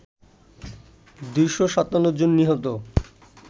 ২৫৭ জন নিহত